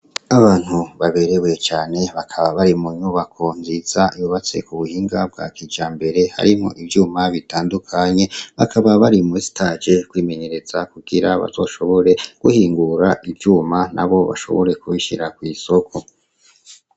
Abantu baberewe cane bakaba bari mu nyubako nvyiza ibubatse ku buhinga bwa kija mbere harimwo ivyuma bitandukanye bakaba bari mu sitaje kwimenyereza kugira bazoshobore guhingura ivyuma na bo bashobore kubishira kw'isoko.